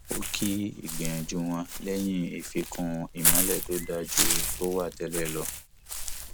ó kí ìgbìnyanju wọn léyìn ìfíkún ìmọlẹ tó dáa ju tó wà tẹlẹ lọ